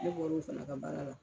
Ne bɔ l'o fana ka baara la